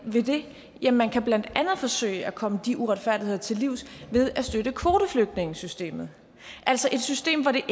ved det ja man kan blandt andet forsøge at komme de uretfærdigheder til livs ved at støtte kvoteflygtningesystemet altså et system hvor det